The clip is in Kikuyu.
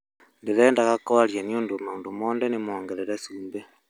ndĩrendaga kwarĩa nĩũndũ maũndũ mothe nĩmongerere cumbĩ"